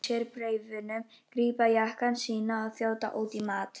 Ritararnir þrír fleygja frá sér bréfunum, grípa jakkana sína og þjóta út í mat.